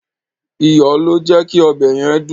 Iyọ̀ ló jẹ́ kí ọbẹ̀ yẹn dùn.